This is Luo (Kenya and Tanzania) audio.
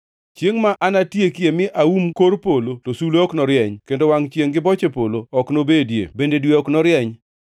Chiengʼ ma anatieki mi aum kor polo to sulwe ok norieny; kendo wangʼ chiengʼ gi boche polo ok nobedie bende dwe ok norieny.